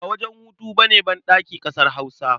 Ba wajen hutu ba ne banɗaki ƙasar Hausa.